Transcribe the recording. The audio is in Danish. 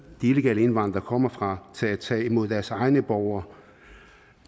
de illegale indvandrere kommer fra til at tage imod deres egne borgere